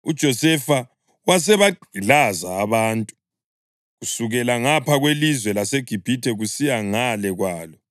uJosefa wasebagqilaza abantu, kusukela ngapha kwelizwe laseGibhithe kusiya ngale kwalo.